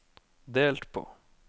delt på